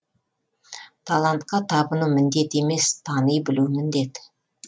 талантқа табыну міндет емес тани білу міндет